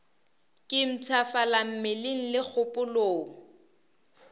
ke mpshafala mmeleng le kgopolong